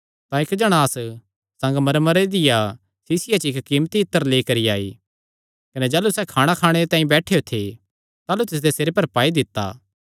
तां इक्क जणांस संगमरमरे दिया सीसिया च कीमती इत्तर लेई करी आई कने जाह़लू सैह़ खाणा खाणे तांई बैठेया था ताह़लू तिसदे सिरे पर पाई दित्ता